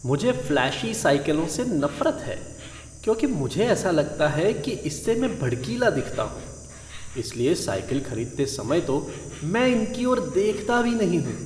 मुझे फ़्लैशी साइकिलों से नफ़रत है क्योंकि मुझे ऐसा लगता है कि इससे मैं भड़कीला दिखता हूँ। इसलिए साइकिल खरीदते समय तो मैं इनकी ओर देखता भी नहीं हूँ।